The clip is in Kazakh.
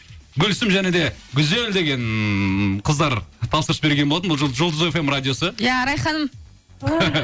гүлсім және де гүзел деген қыздар тапсырыс берген болатын бұл жұлдыз фм радиосы иә арай ханым